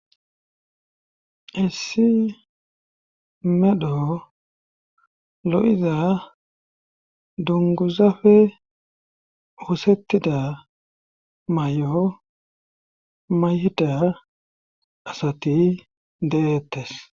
hessi medho lo'iza dunguzafe oosettida may'o mayida asati dehettes.